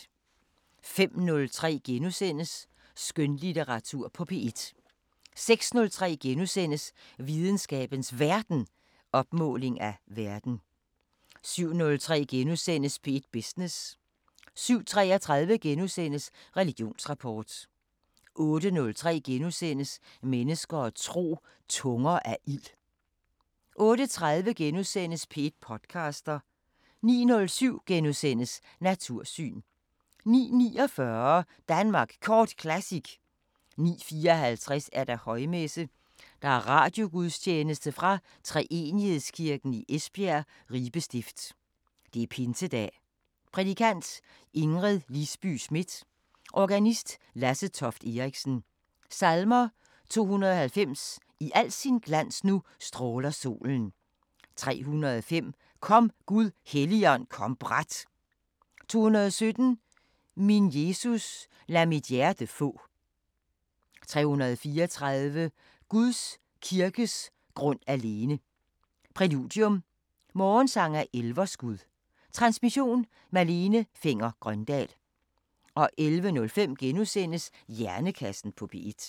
05:03: Skønlitteratur på P1 * 06:03: Videnskabens Verden: Opmåling af verden * 07:03: P1 Business * 07:33: Religionsrapport * 08:03: Mennesker og tro: Tunger af ild * 08:30: P1 podcaster * 09:07: Natursyn * 09:49: Danmark Kort Classic 09:54: Højmesse - Radiogudstjeneste fra Treenighedskirken, Esbjerg. Ribe Stift. Pinsedag. Prædikant: Ingrid Lisby Schmidt. Organist: Lasse Toft Eriksen. Salmer: 290: I al sin glans nu stråler solen. 305: Kom, Gud Helligånd, kom brat. 217: Min Jesus, lad mit hjerte få. 334: Guds kirkes grund alene. Præludium: Morgensang af Elverskud. Transmission: Malene Fenger-Grøndahl. 11:05: Hjernekassen på P1 *